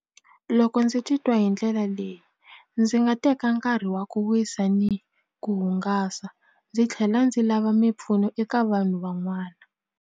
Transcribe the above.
Loko ndzi titwa hi ndlela leyi ndzi nga teka nkarhi wa ku wisa ni ku hungasa ndzi tlhela ndzi lava mimpfuno eka vanhu van'wana.